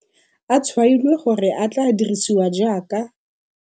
a tshwailwe gore a tla dirisiwa jaaka